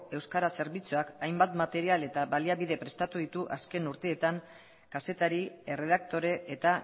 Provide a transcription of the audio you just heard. euskara zerbitzuak hainbat material eta baliabide prestatu ditu azken urteetan kazetari erredaktore eta